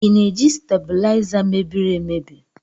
I na-eji stabuliza mebiri emebi?